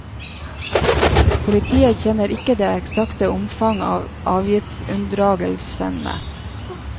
Politiet kjenner ikke det eksakte omfanget av avgiftsunndragelsene.